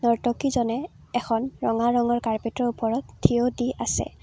নৰ্তকীজনে এখন ৰঙা ৰঙৰ কাৰ্পেটৰ ওপৰত থিয় দি আছে।